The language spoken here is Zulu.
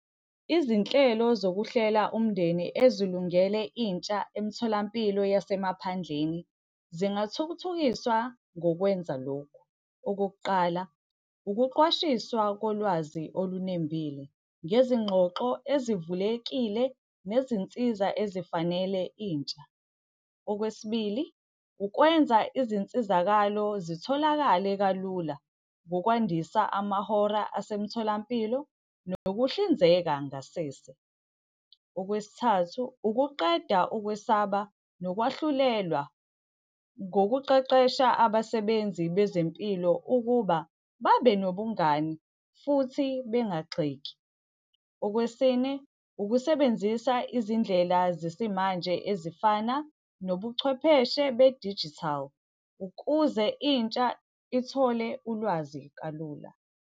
Izinhlelo zokuhlela umndeni ezilungele intsha emtholampilo yasemaphandleni, zingathuthukiswa ngokwenza lokhu. Okokuqala, ukuqwashiswa kolwazi olunembile, ngezingxoxo ezivulekile nezinsiza ezifanele intsha. Okwesibili, ukwenza izinsizakalo zitholakale kalula ngokwandisa amahora asemtholampilo nokuhlinzeka ngasese. Okwesithathu, ukuqeda ukwesaba nokwahlulelwa ngokuqeqesha abasebenzi bezempilo ukuba babe nobungani futhi bengagxeki. Okwesine, ukusebenzisa izindlela zesimanje ezifana nobuchwepheshe be-digital, ukuze intsha ithole ulwazi kalula.